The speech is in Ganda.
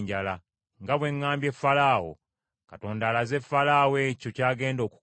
“Nga bwe ŋŋambye Falaawo, Katonda alaze Falaawo ekyo ky’agenda okukola.